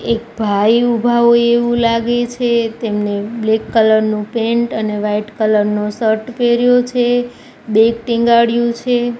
એક ભાઇ ઊભા હોય એવુ લાગે છે તેમને બ્લેક કલર નુ પેન્ટ અને વ્હાઇટ કલર નો શર્ટ પેર્યો છે બેગ ટીંગાડ્યુ છે.